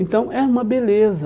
Então é uma beleza.